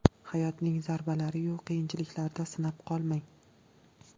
Hayotning zarbalari-yu qiyinchiliklarida sinib qolmang.